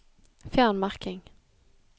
Fjern merking